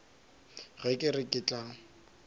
ge ke re ke tla